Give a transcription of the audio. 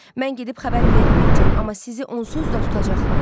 Mən gedib xəbər verməyəcəm, amma sizi onsuz da tutacaqlar.